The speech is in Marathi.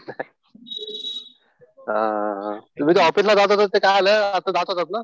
हा हा तुम्ही ते ऑफिसला जात होता आता ते काय झालं?